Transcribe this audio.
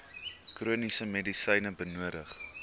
chroniese medisyne benodig